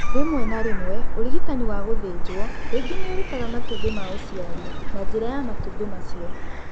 Rĩmwe na rĩmwe, ũrigitani wa gũthĩnjwo ningĩ nĩ ũrutaga matumbĩ ma ũciari na njĩra ya matumbĩ acio.